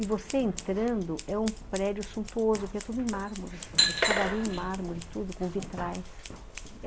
E você entrando, é um prédio suntuoso, porque é tudo em mármore, a escadaria em mármore, tudo com vitrais.